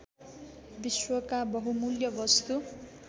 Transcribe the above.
विश्वका बहुमुल्य वस्तु